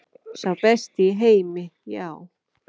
Sá besti í heimi, já.